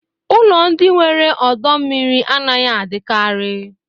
Ụlọ ndị nwere ọdọ mmiri anaghị adịkarị.